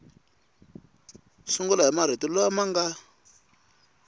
sungula hi marito lama nga